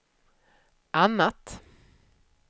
annat